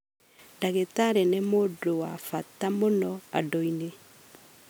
Ndagĩtarĩ nĩ mũndũ wa bata mũno andũ-inĩ,